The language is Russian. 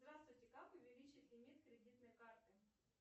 здравствуйте как увеличить лимит кредитной карты